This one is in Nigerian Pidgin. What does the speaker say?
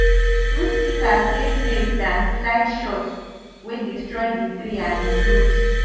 fruit pikas dey safe dan sligshots wey destroy di tree and di fruit